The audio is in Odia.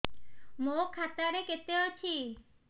ମୋ ଖାତା ରେ କେତେ ଅଛି